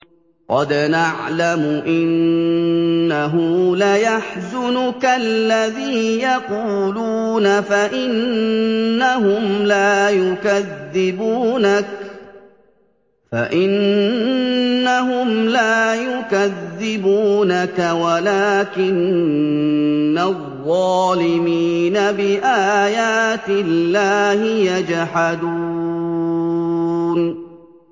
قَدْ نَعْلَمُ إِنَّهُ لَيَحْزُنُكَ الَّذِي يَقُولُونَ ۖ فَإِنَّهُمْ لَا يُكَذِّبُونَكَ وَلَٰكِنَّ الظَّالِمِينَ بِآيَاتِ اللَّهِ يَجْحَدُونَ